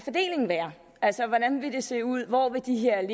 være altså hvordan det vil se ud hvor de her